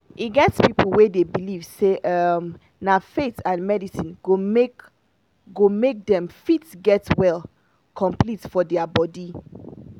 e get people wey dey believe say um na faith and medicine go make go make dem fit get well complete for their body.